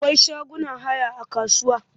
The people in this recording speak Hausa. Akwai shagunan haya a kasuwa.